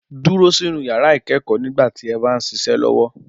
Dúró sínu yàrá ikẹ́kọ́ nígbà tí ẹ bá ń ṣiṣẹ́ lọ́wọ́.